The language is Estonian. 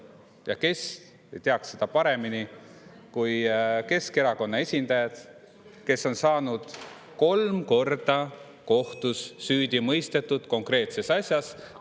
Ja kes teaks seda paremini kui Keskerakonna esindajad, kes on saanud kolm korda kohtus süüdi mõistetud konkreetses asjas.